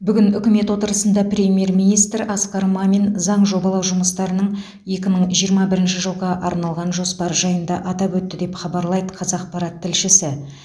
бүгін үкімет отырысында премьер министр асқар мамин заң жобалау жұмыстарының екі мың жиырма бірінші жылға арналған жоспары жайында атап өтті деп хабарлайды қазақпарат тілшісі